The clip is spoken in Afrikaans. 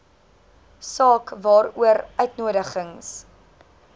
saak waaroor uitnodigings